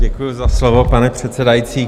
Děkuji za slovo, pane předsedající.